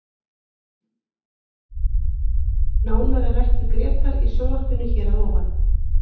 Nánar er rætt við Grétar í sjónvarpinu hér að ofan.